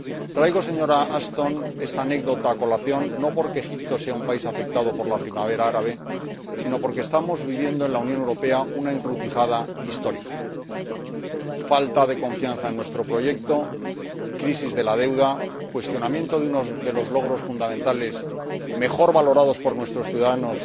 Traigo, señora Ashton, esta anécdota a colación, no porque Egipto sea un país afectado por la primavera árabe, sino porque estamos viviendo en la Unión Europea una encrucijada histórica falta de confianza en nuestro proyecto, crisis de la deuda, cuestionamiento de los logros fundamentales mejor valorados por nuestros ciudadanos